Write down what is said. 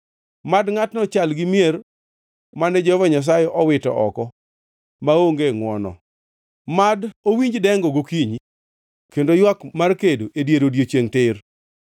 Mad ngʼatno chal gi mier mane Jehova Nyasaye owito oko maonge ngʼwono. Mad owinj dengo gokinyi kod ywak mar kedo e dier odiechiengʼ tir.